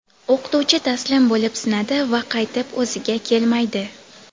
o‘qituvchi taslim bo‘lib sinadi va qaytib o‘ziga kelmaydi.